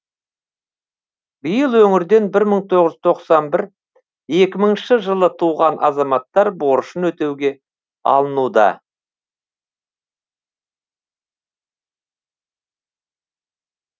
биыл өңірден бір мың тоғыз жүз тоқсан бір екі мыңыншы жылы туған азаматтар борышын өтеуге алынуда